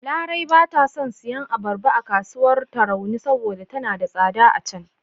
Larai ba ta son siyan abarba a kasuwar Tarauni saboda tana da tsada a can..